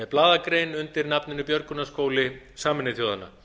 blaðagrein undir nafninu björgunarskóli sameinuðu þjóðanna